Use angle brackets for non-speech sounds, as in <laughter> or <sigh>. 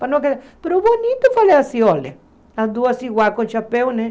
<unintelligible> mas o bonito eu falei assim, olha, as duas iguais com chapéu, né?